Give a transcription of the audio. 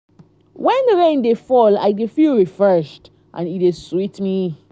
wen rain dey fall i dey feel refreshed and e dey sweet me.